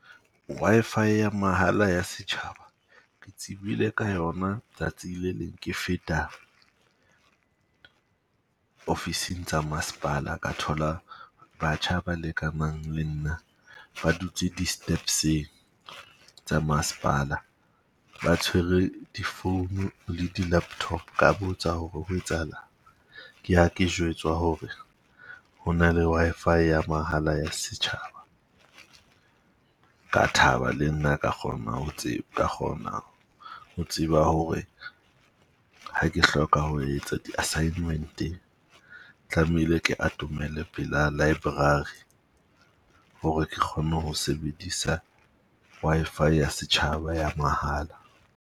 Wi-Fi ya mahala ya setjhaba, ke tsebile ka yona tsatsi le leng ke feta ofising tsa masepala. Ka thola batjha ba lekanang le nna ba dutse di-steps-eng tsa masepala ba tshwere difounu le di-laptop. Ka botsa hore ho etsahalang? Ke ha ke jwetswa ho re ho na le Wi-Fi ya mahala ya setjhaba. Ka thaba le nna ka kgona ho ka kgona ho tseba hore ha ke hloka ho etsa di-assignment-e, tlamehile ke atomele pela library ho re ke kgone ho sebedisa Wi-Fi ya setjhaba ya mahala.